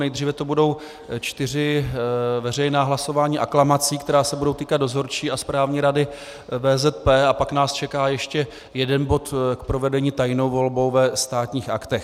Nejdříve to budou čtyři veřejná hlasování aklamací, která se budou týkat Dozorčí a Správní rady VZP, a pak nás čeká ještě jeden bod k provedení tajnou volbou ve Státních aktech.